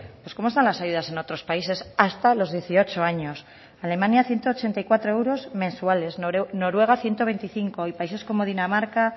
pues cómo están las ayudas en otros países hasta los dieciocho años alemania ciento ochenta y cuatro euros mensuales noruega ciento veinticinco y países como dinamarca